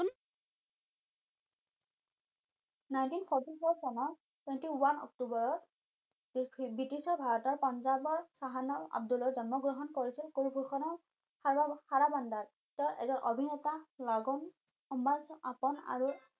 nineteen forty four চনৰ twenty one অক্টোৱৰৰ বিটিছৰ ভাৰতৰ পাঞ্জাৱৰ চাহানা আব্দুলত জন্ম গ্ৰহণ কৰিছিল থাৰা বান্দাৰ তেও এজন অভিনেতা লাগুম আম্বাছ আকন আৰু